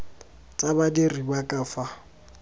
tsa badiri ba ka fa